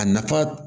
A nafa